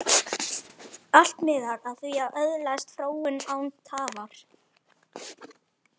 Allt miðar að því að öðlast fróun, án tafar.